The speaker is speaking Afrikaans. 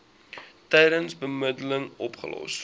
tydens bemiddeling opgelos